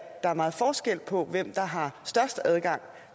der er meget forskel på hvem der har størst adgang